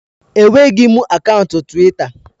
Enweghị m akaụntụ Twita